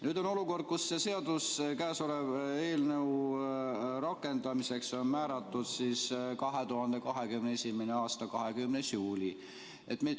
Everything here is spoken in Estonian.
Nüüd on olukord, kus käesoleva eelnõu rakendamiseks on määratud 2021. aasta 20. juuli.